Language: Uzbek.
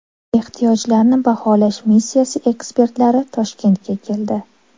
Ehtiyojlarni baholash missiyasi ekspertlari Toshkentga keldi.